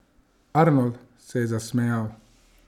Arnold se je zasmejal.